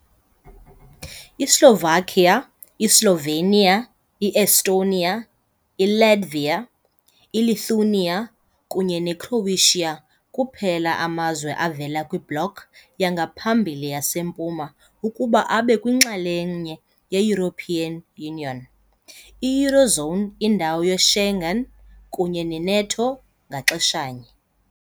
I-Slovakia, iSlovenia, i-Estonia, iLatvia, iLithuania kunye neCroatia kuphela amazwe avela kwiBloc yangaphambili yaseMpuma ukuba abe yinxalenye ye-European Union, i- Eurozone, indawo ye-Schengen kunye ne-NATO ngaxeshanye.